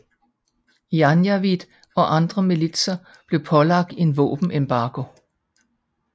Janjaweed og andre militser blev pålagt en våbenembargo